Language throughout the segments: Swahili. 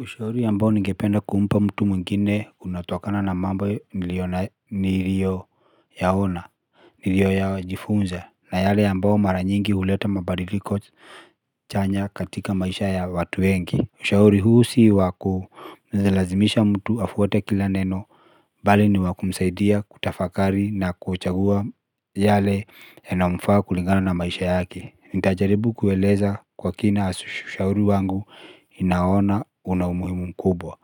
Ushauri ambao ningependa kumpa mtu mwingine unatokana na mambo niliyoyaona niliyojifunza na yale ambayo mara nyingi huleta mabadiliko chanya katika maisha ya watu wengi ushauri huu si wa kumlazimisha mtu afuate kila neno. Bali ni wa kumsaidia kutafakari na kuchagua yale yanayomfaa kulingana na maisha yake nitajaribu kueleza kwa kina ushauri wangu inaona una umuhimu mkubwa.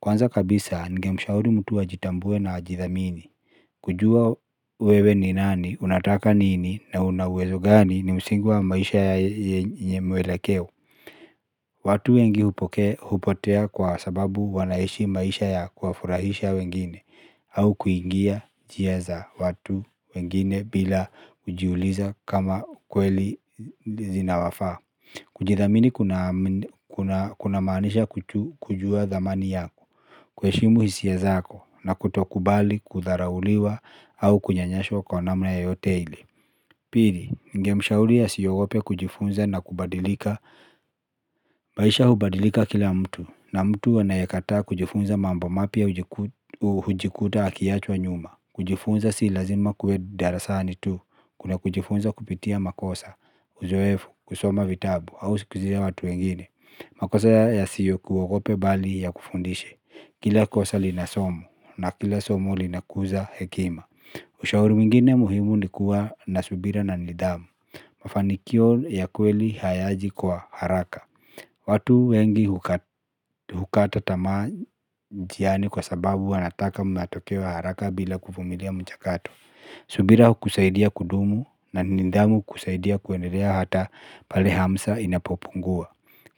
Kwanza kabisa ningemshauri mtu ajitambue na ajithamini. Kujua wewe ni nani, unataka nini na una uwezo gani ni msingi wa maisha ya yenye mwelekeo. Watu wengi hupotea kwa sababu wanaishi maisha ya kuwafurahisha wengine au kuingia njia za watu wengine bila kujiuliza kama kweli zinawafaa. Kujithamini kunamaanisha kujua dhamani yako, kuheshimu hisia zako, na kutokubali kudharauliwa au kunyanyaswa kwa namna yoyote ile. Pili, ningemshauri asiogope kujifunza na kubadilika. Maisha hubadilika kila mtu, na mtu anayekataa kujifunza mambo mapya hujikuta akiachwa nyuma. Kujifunza si lazima kuwe darasani tu. Kuna kujifunza kupitia makosa, uzoefu, kusoma vitabu au sikizia watu wengine. Makosa yasikuogope bali yakufundishe. Kila kosa lina somo na kila somo linakuza hekima. Ushauri mwingine muhimu ni kuwa na subira na nidhamu. Mafanikio ya kweli hayaji kwa haraka. Watu wengi hukata tamaa njiani kwa sababu wanataka matokeo ya haraka bila kuvumilia mchakato. Subira hukusaidia kudumu. Na nidhamu kusaidia kuendelea hata pale hamsa inapopungua.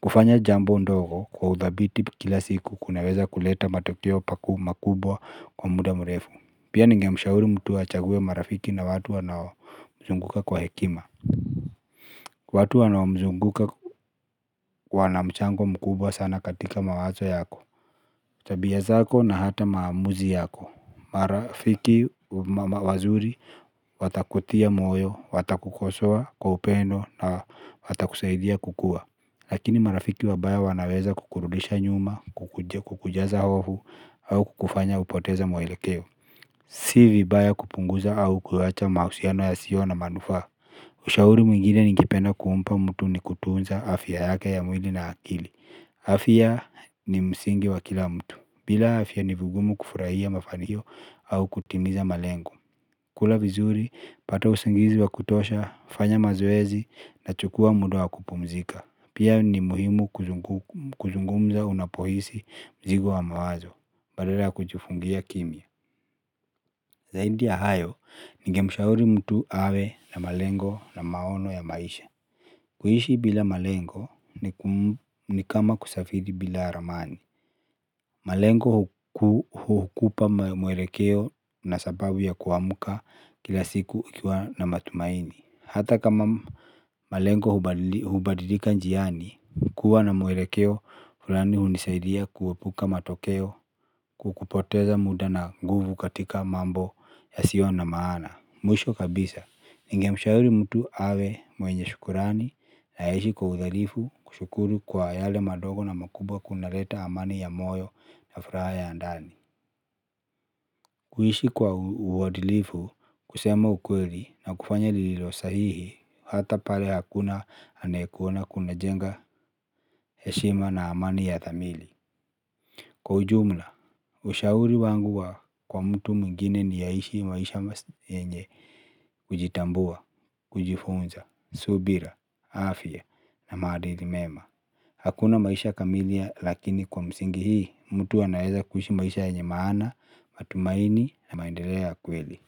Kufanya jambo ndogo kwa udhabiti kila siku kunaweza kuleta matokeo makubwa kwa muda mrefu. Pia ningemshauri mtu achague marafiki na watu wanaomzunguka kwa hekima. Watu wanaomzunguka wana mchango mkubwa sana katika mawazo yako tabia zako na hata maamuzi yako. Marafiki wazuri watakutia moyo, watakukosoa kwa upendo na watakusaidia kukua. Lakini marafiki wabaya wanaweza kukurudisha nyuma, kukujaza hofu au kukufanya upoteze mwelekeo. Si vibaya kupunguza au kuyaacha mahusiano yasiyo na manufaa. Ushauri mwingine ningependa kumpa mtu ni kutunza afya yake ya mwili na akili. Afya ni msingi wa kila mtu, bila afya ni vigumu kufurahia mafanikio au kutimiza malengo. Kula vizuri, pata usingizi wa kutosha, fanya mazoezi na chukua muda wa kupumzika. Pia ni muhimu kuzungumza unapohisi mzigo wa mawazo, badala ya kujifungia kimya. Zaidi ya hayo, ningemshauri mtu awe na malengo na maono ya maisha. Kuishi bila malengo ni kama kusafiri bila ramani. Malengo hukupa mwelekeo na sababu ya kuamka kila siku ukiwa na matumaini. Hata kama malengo hubadilika njiani. Hukuwa na mwelekeo fulani hunisaidia kuepuka matokeo. Kukupoteza muda na nguvu katika mambo yasiyo na maana. Mwisho kabisa ningemshauri mtu awe mwenye shukurani na aishi kwa udhalifu kushukuru kwa yale madogo na makubwa kunaleta amani ya moyo na furaha ya ndani. Kuishi kwa uadilifu kusema ukweli na kufanya lililo sahihi hata pale hakuna anayekuona kuna jenga heshima na amani ya thamili. Kwa ujumla, ushauri wangu wa kwa mtu mwingine ni aishi maisha yenye kujitambua, kujifunza. Subira, Afya Na maadili mema. Hakuna maisha kamilia lakini kwa msingi hii mtu anaeza kuishi maisha yenye maana matumaini na maendeleo ya kweli.